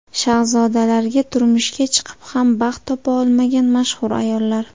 Shahzodalarga turmushga chiqib ham baxt topa olmagan mashhur ayollar .